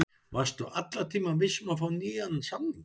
Varstu allan tímann viss um að fá nýjan samning?